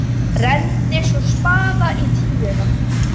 Renndi svo spaða á tíuna.